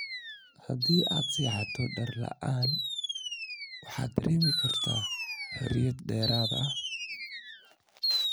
Haddii aad seexato dhar la'aan waxaad dareemi kartaa xoriyad dheeraad ah.